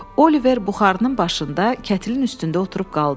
Oliver buxarının başında kətirin üstündə oturub qaldı.